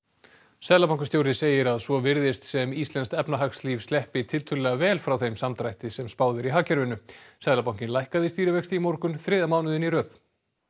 seðlabankastjóri segir að svo virðist sem íslenskt efnahagslíf sleppi tiltölulega vel frá þeim samdrætti sem spáð er í hagkerfinu seðlabankinn lækkaði stýrivexti í morgun þriðja mánuðinn í röð